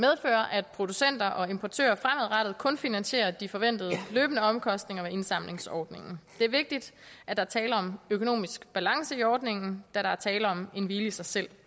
at producenter og importører fremadrettet kun finansierer de forventede løbende omkostninger ved indsamlingsordningen det er vigtigt at der er tale om økonomisk balance i ordningen da der er tale om en hvile i sig selv